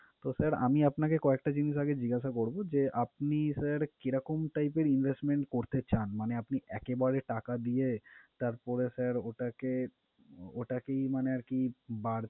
তো sir আমি আপনাকে কয়েকটা জিনিস আগে জিজ্ঞাসা করবো যে, আপনি sir কিরকম type এর investment করতে চান? মানে আপনি একেবারে টাকা দিয়ে তারপরে sir ওটাকে ওটাকে আহ মানে আরকি বার~